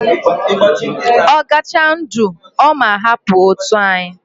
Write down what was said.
Ogacha ndu, oma hapu otu anyi